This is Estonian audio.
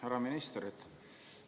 Härra minister!